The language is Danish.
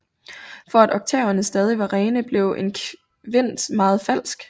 For at oktaverne stadig var rene blev en kvint meget falsk